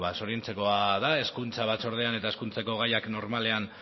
zoriontzekoa da hezkuntza batzordean eta hezkuntzako gaiak normalean